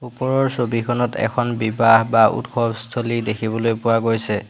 ওপৰৰ ছবিখন এখন বিবাহ বা উৎসৱস্থলী দেখিবলৈ পোৱা গৈছে।